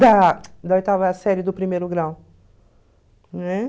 Da da oitava série do primeiro grau, né?